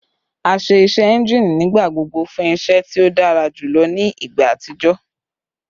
A ṣe iṣẹ engine nigbagbogbo fun iṣẹ ti o dara julọ ni igba atijọ